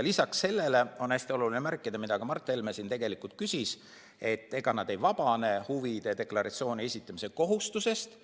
Lisaks sellele on hästi oluline ära märkida see, mille kohta Mart Helme küsis: nad ei vabane huvide deklaratsiooni esitamise kohustusest.